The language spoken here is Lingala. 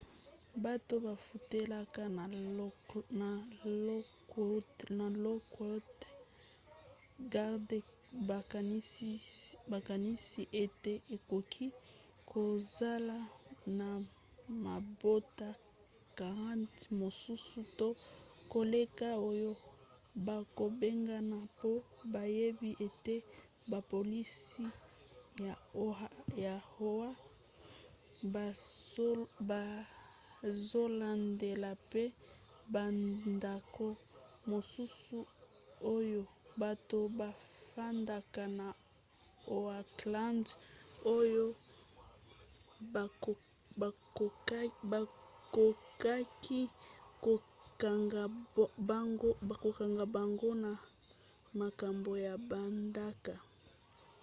bato bafutelaka na lockwood gardens bakanisi ete ekoki kozala na mabota 40 mosusu to koleka oyo bakobengana mpo bayebi ete bapolisi ya oha bazolandela mpe bandako mosusu oyo bato bafandaka na oakland oyo bakokaki kokanga bango na makambo ya bandako